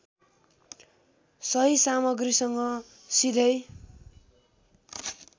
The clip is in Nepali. सही सामग्रिसँग सिधै